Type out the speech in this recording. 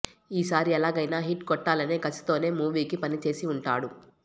ఈసారి ఎలాగైనా హిట్ కొట్టాలనే కసితోనే మూవీకి పని చేసి ఉంటాడు